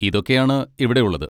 ഇതൊക്കെയാണ് ഇവിടെ ഉള്ളത്.